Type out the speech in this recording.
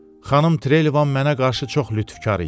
Xanım Trelivan mənə qarşı çox lütfkar idi.